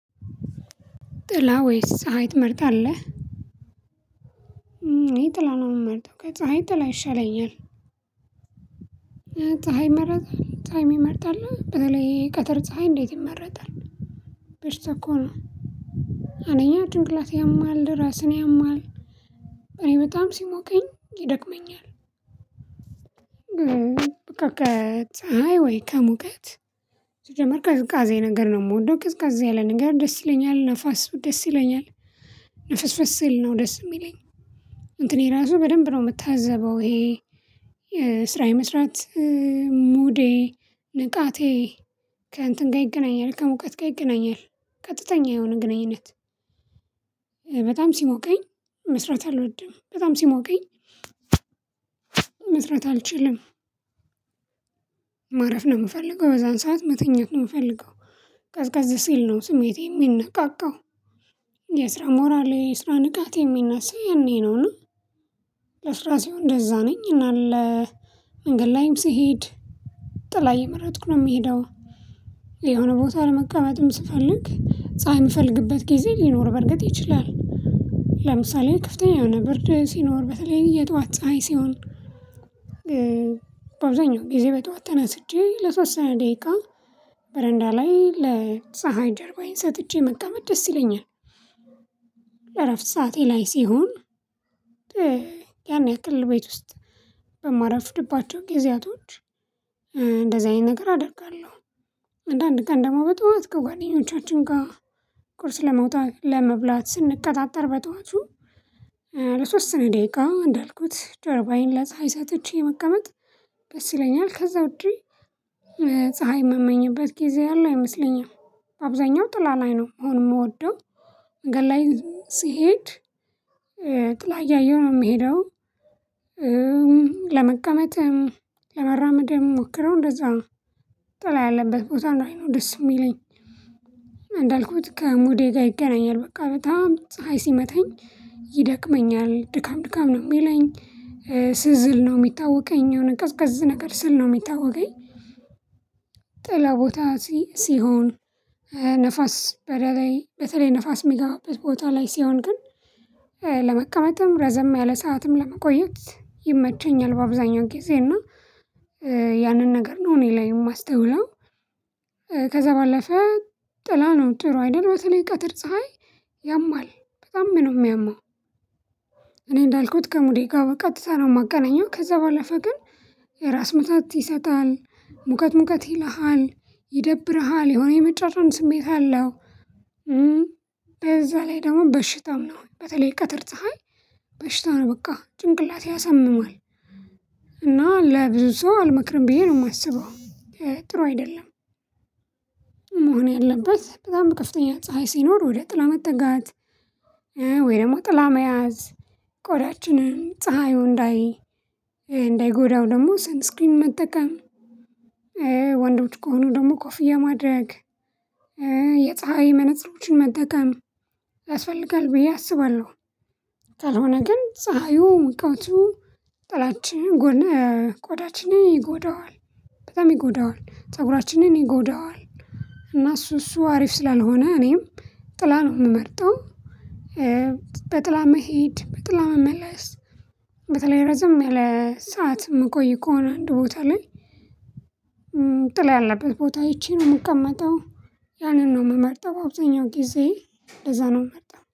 ጥላ ወይስ ፀሀይ ትመርጣለህ እኔ ጥላ ነው የምመርጠው ከፀሀይ ጥላ ይሻለኛል ፀሀይ ይመረጣል ፀሀይ የሚመርጥ አለ በተለይ የቀተር ፀሀይ እንዴት ይመረጣል በሽታ እኮ ነው አንጀኛ ጭንቅላት ያማል ራስን ያማል እኔ በጣም ሲሞቀኝ ይደክመኛል በቃ ከትፀሀይ ወይ ከሙቀት ሲጀመር ቅዝቃዜ ነገር ነው የምወደው ቅዝቅዝ ያለ ነገር ደስ ይለኛል ነፋስ ደስ ይለኛል ነፍስ ንፍስ ሲል ነው ደስ የሚለኝ እንትን ራሱ በደንብ ነው የምታዘበው ይሄ የስራ የመስራት ሙዴ ንቃቴ ከእንትን ጋር ይገናኛል ከሙቀት ጋር ይገናኛል ቀጥተኛ የሆነ ግንኙነት በጣም ሲሞቀኝ መስራት አልወድም፣ በጣም ሲሞቀኝ መስራት አልችልም ማረፍ ነው የምፈልገው፣ በዛን ሰዓት መተኛት ነው የምፈልገው፣ ቀዝቃዝ ሲል ነው ስሜቴ የሚነቃቃው የስራ ሞራሌ የስራ ንቃት የሚነሳ የኔ ነውና ለስራ ሲሆን እንደዛ ነኝ እና ለ መንገድ ላይም ስሄድ ጥላ እየመረጥኩ ነው የምሄደው የሆነ ቦታ ለመቀበልም ስፈልግ ፀሀይ የምፈልግበት ጊዜ ሊኖር በርግጥ ይችላል፤ ለምሳሌ ከፍተኛ የሆነ ብርድ ሲኖር በተለይ የጠዋት ፀሀይ ሲሆን በአብዛኛው ጊዜ በጠዋት ተነስቼ ለተወሰነ ደቂቃ በረንዳ ላይ ለፀሀይ ጀርባዬን ሰጥቼ መቀመጥ ደስ ይለኛል። የረፍት ሰዓቴ ላይ ሲሆን ያን ያክል ቤት ውስጥ በማረፍድባቸው ጊዜያቶች እንደዚህ አይነት ነገር አደርጋለሁ። አንዳንድ ቀን ደግሞ በጧት ከጓደኞቻችን ጋር ቁርስ ለመውጣት ለመብላት ስንቀጣጠር በጧቱ ለተወሰነ ደቂቃ እንዳልኩት ጀርባዬን ላይ ለፀሀይ ሰጥቼ መቀመጥ ደስ ይለኛል፣ ከዛ ውድ ፀሀይ የምመኝበት ጊዜ ያለ አይመስለኝም አብዛኛው ጥላ ላይ ነው መሆን የምወደው መንገድ ላይ ስሄድ ጥላ እያየሁ ነው የምሄደው ለመቀመጥ፣ ለመራመድ ምሞክረው እንደዛ ነው ጥላ ያለበት ቦታ ላይ ነው ደስ የሚለኝ፣ እንዳልኩት ከሙዴ ጋር ይገናኛል በቃ በጣም ፀሀይ ሲመተኝ ይደክመኛል ድካም ድካም ነው የሚለኝ፣ ስዝል ነው የሚታወቀኝ የሆነ ቀዝቀዝ ነገር ስል ነው የሚታወቀኝ ጥላ ቦታ ሲ ሲሆን ንፋስ በተለይ በተለይ ንፋስ የሚገባበት ቦታ ላይ ሲሆን ግን ለመቀመጥም ረዘም ያለ ሰዓትም ለመቆየት ይመቸኛል በአብዛኛው ጊዜ እና ያንን ነገር ነው እኔ ላይ የማስተውለው ከዛ ባለፈ ጥላ ነው ጥሩ አይደል በተለይ ቀጥር ፀሀይ ያማል በጣም ነው የሚያማው፣ እኔ እንዳልኩት ከሙዴ ጋር በቀጥታ ነው የማገናኘው ከዛ ባለፈ ግን የራስ ምታት ይሰጣል፣ ሙቀት ሙቀት ይልሃል፣ ይደብርሃል፣ የሆነ የመጨለም ስሜት አለው፣ በዛ ላይ ደግሞ በሽታም ነው በተለይ ቀትር ፀሀይ በሽታ ነው በቃ ጭንቅላት ያሰምማል እና ለብዙ ሰው አልመክርም ብዬ ነው የማስበው ጥሩ አይደለም። መሆን ያለበት በጣም ከፍተኛ ፀሀይ ሲኖር ወደ ጥላ መጠጋት ወይ ደግሞ ጥላ መያዝ ቆዳችንም ፀሀዩ እንዳይ እንዳይጎዳው ደግሞ ሰንስክሪን መጠቀም፣ ወንዶች ከሆኑ ደግሞ ኮፍያ ማድረግ፣ የፀሀይ መነፅሮችን መጠቀም ያስፈልጋል ብዬ አስባለሁ። ካልሆነ ግን ፀሀዩ ሙቀቱ ጥላች ቆዳችንን ይጎዳዋል በጣም ይጎዳዋል፣ ፀጉራችንን ይጎዳዋል እና እሱ እሱ አሪፍ ስላልሆነ እኔም ጥላ ነው የምመርጠው በጥላ መሄድ፣ በጥላ መመለስ በተለይ ረዘም ያለ ሰዓት የምቆይ ከሆነ አንድ ቦታ ላይ ጥላ ያለበት ቦታ አይቼ ነው የምቀመጠው ያንን ነው የምመርጠው አብዛኛው ጊዜ እንደዛ ነው የምመርጠው።